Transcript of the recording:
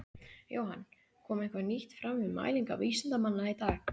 Jóhann, kom eitthvað nýtt fram við mælingar vísindamanna í dag?